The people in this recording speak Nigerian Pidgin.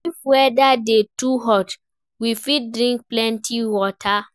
If weather dey too hot, we fit drink plenty water